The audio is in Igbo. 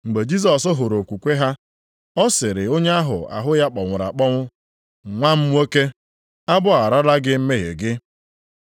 Mgbe Jisọs hụrụ okwukwe ha, ọ sịrị onye ahụ ahụ ya kpọnwụrụ akpọnwụ, “Nwa m nwoke, agbagharala gị mmehie gị.”